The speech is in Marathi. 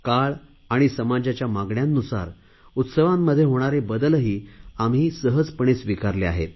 काळ आणि समाजाच्या मागण्यानुसार उत्सवांमध्ये होणारे बदलही आम्ही सहजपणे स्वीकारले आहेत